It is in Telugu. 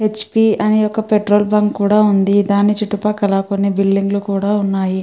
హ్. పి. అని ఒక పెట్రోల్ బంక్ కూడా వుంది. దాని చుట్టుపక్కల్లా బిల్డింగ్స్ వున్నాయ్.